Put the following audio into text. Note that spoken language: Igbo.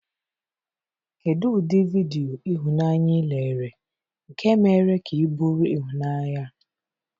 Kedu ụdị vidiyo ihunanya ị lere nke mere ka ị bụrụ ịhụnanya a?